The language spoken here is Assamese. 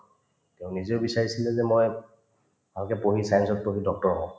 তেওঁ নিজে বিচাৰিছিলে যে মই ভালকে পঢ়ি science ত পঢ়ি doctor হম